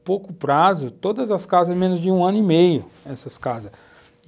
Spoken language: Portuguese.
em pouco prazo, todas as casas em menos de um ano e meio, essas casas.